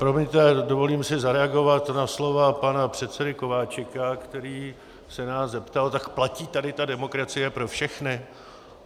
Promiňte, dovolím si zareagovat na slova pana předsedy Kováčika, který se nás zeptal: tak platí tady ta demokracie pro všechny?